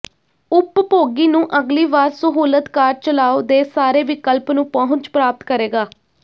ਉਪਭੋਗੀ ਨੂੰ ਅਗਲੀ ਵਾਰ ਸਹੂਲਤ ਕਾਰਜ ਚਲਾਓ ਦੇ ਸਾਰੇ ਵਿਕਲਪ ਨੂੰ ਪਹੁੰਚ ਪ੍ਰਾਪਤ ਕਰੇਗਾ